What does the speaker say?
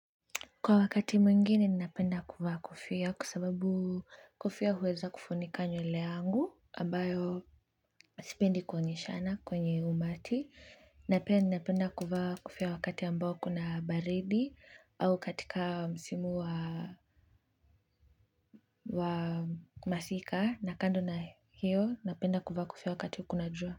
Kwa wakati mwingine ninapenda kuvaa kofia kwa sababu kofia huweza kufunika nywele yangu ambayo sipendi kuonyeshana kwenye umati na pia ninapenda kuvaa kofia wakati ambayo kuna baridi au katika msimu wa wa masika na kando na hiyo napenda kuvaa kofia wakati kuna jua.